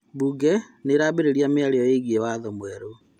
Mbunge nĩĩrambĩrĩria mĩario ĩgiĩ watho mwerũ